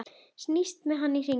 Snýst með hann í hringi.